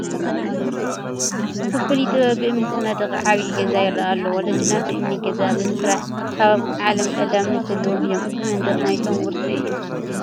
ብፍሉይ ጥበብ ብእምኒ ዝተነደቐ ዓብዪ ገዛ ይርአ ኣሎ፡፡ ወለድና ብእምኒ ገዛ ብምስራሕ ካብ ዓለም ቀዳምነት ዘለዎም እዮም፡፡ እዚ መንደቕ ናቶም ውርሲ እዩ፡፡